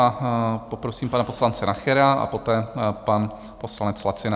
A poprosím pana poslance Nachera a poté pan poslanec Lacina.